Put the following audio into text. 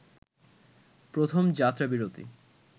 প্রথম যাত্রাবিরতি